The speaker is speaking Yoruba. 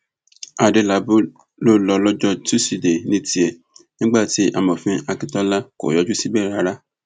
adélábù ló lọjọ tosidee ní tiẹ nígbà tí amòfin akíntola kò yọjú síbẹ rárá